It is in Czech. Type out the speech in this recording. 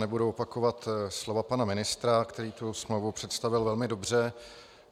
Nebudu opakovat slova pana ministra, který tu smlouvu představil velmi dobře.